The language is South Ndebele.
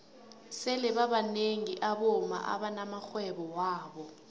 sele babnengi abomma abana maxhwebo wabo